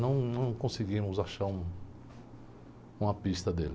Não, não conseguimos achar um, uma pista dele.